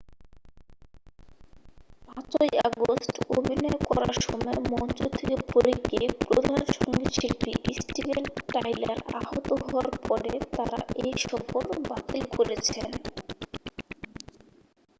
5'ই August অভিনয় করার সময় মঞ্চ থেকে পড়ে গিয়ে প্রধান সংগীতশিল্পী স্টিভেন টাইলার আহত হওয়ার পরে তারা এই সফর বাতিল করেছেন।